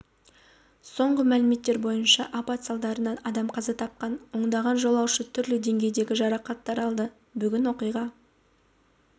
соңғы мәлімет бойынша апат салдарынан адам қаза тапқан ондаған жолаушы түрлі деңгейдегі жарақаттар алды бүгін оқиға